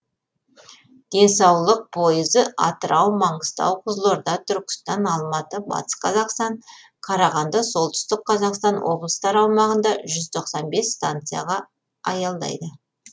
денсаулық пойызы атырау маңғыстау қызылорда түркістан алматы батыс қазақстан қарағанды солтүстік қазақстан облыстары аумағында жүз тоқсан бес станцияға аялдайды